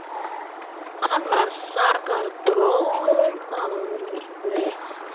Hann var sagður góður málari.